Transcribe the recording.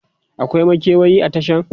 akwai makewayi a Tashan?